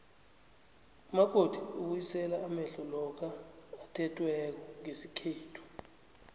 umakoti ubuyisela amehlo lokha athethweko ngesikhethu